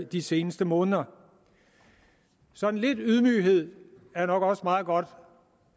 de seneste måneder sådan lidt ydmyghed er nok også meget godt